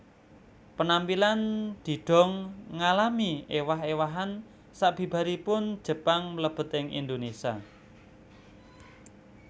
Penampilan didong ngalami ewah ewahan sabibaripun Jepang mlebet ing Indonesia